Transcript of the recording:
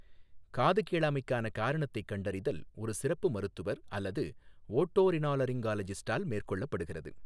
காது கேளாமைக்கான காரணத்தைக் கண்டறிதல் ஒரு சிறப்பு மருத்துவர் அல்லது ஓட்டோரினோலரிஞ்ஜாலஜிஸ்ட்டால் மேற்கொள்ளப்படுகிறது.